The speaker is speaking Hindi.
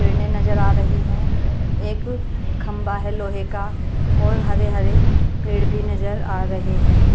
ट्रेने नजर आ रही हैं एक खंबा है लोहे का और हरे हरे पेड़ भी नजर आ रहे हैं।